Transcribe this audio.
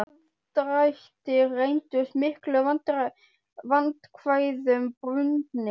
Þessir aðdrættir reyndust miklum vandkvæðum bundnir.